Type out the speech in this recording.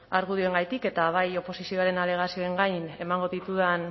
argudioengatik eta bai oposizioaren alegazioen gain emango ditudan